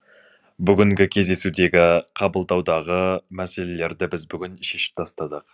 бүгінгі кездесудегі қабылдаудағы мәселелерді біз бүгін шешіп тастадық